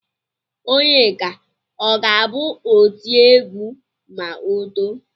Onyeka ọ ga-abụ otiegwu ma o too?